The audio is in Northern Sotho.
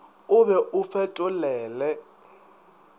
o be o o fetolele